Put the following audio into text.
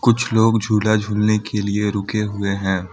कुछ लोग झूला झूलने के लिए रुके हुए हैं।